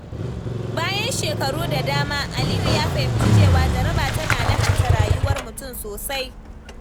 Bayan shekaru da dama, Aliyu ya fahimci cewa jaraba tana lahanta rayuwar mutum sosai.